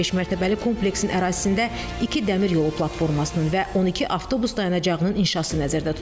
Beşmərtəbəli kompleksin ərazisində iki dəmir yolu platformasının və 12 avtobus dayanacağının inşası nəzərdə tutulub.